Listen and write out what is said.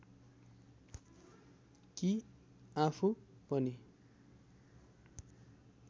कि आफू पनि